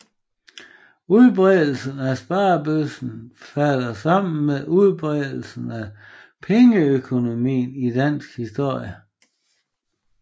Udbredelsen af sparebøssen falder sammen med udbredelsen af pengeøkonomien i dansk historie